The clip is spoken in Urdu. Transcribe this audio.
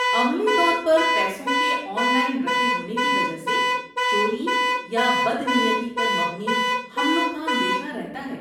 عملی طور پر پیسوں کے 'آن لائن' رکھے ہونے کی وجہ سے، چوری یا بدنیتی پر مبنی حملوں کا اندیشہ رہتا ہے۔